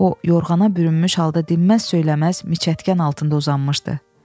O yorğana bürünmüş halda dinməz söyləməz miçətkən altında uzanmışdı.